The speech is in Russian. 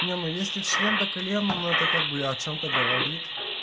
не ну если член до колен это как бы о чем-то говорит